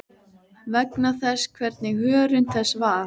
vegna þess hvernig hörund þess var.